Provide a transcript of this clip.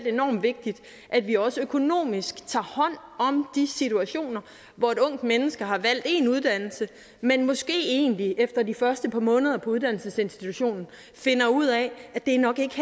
er enormt vigtigt at vi også økonomisk tager hånd om de situationer hvor et ungt menneske har valgt en uddannelse men måske egentlig efter de første par måneder på uddannelsesinstitutionen finder ud af at det nok ikke